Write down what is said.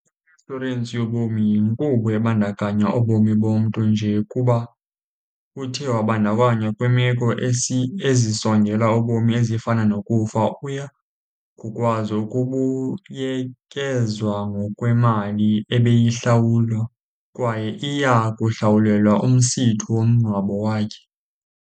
I-inshorensi yobomi yinkqubo ebandakanya ubomi bomntu nje kuba uthe wabandakanya kwiimeko ezisondela ubomi ezifana nokufa, uya kukwazi ukubuyekezwa ngokwemali ebeyihlawule kwaye iya kuhlawulelwa umsitho womngcwabo wakhe